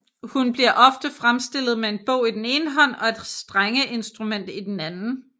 Hun bliver ofte fremstillet med en bog i den ene hånd og et strengeinstrument i den anden